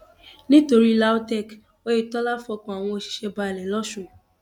nítorí lautech oyetola fọkàn àwọn òṣìṣẹ balẹ lọsùn